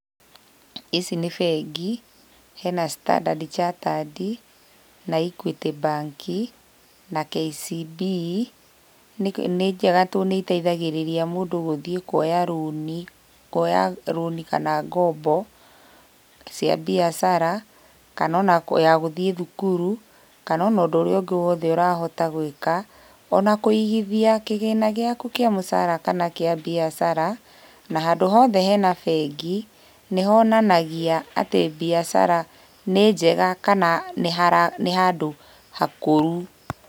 Ici nĩ bengi, hena Standard Chartered, na Equity Bank na KCB. Nĩnjega tondũ nĩiteithagĩrĩria mũndũ gũthiĩ kuoya rũni, kuoya rũni kana ngombo, cia mbiacara kana ona ya gũthiĩ thukuru, kana ona ũndũ ũrĩa ũngĩ woothe ũrahota gwĩka, ona kũigithia kĩgĩna gĩaku kĩa mũcara kana kĩa mbiacara, na handũ hothe hena bengi, nĩhonanagia atĩ mbiacara nĩ njega kana nĩhara nĩ handũ hakũru.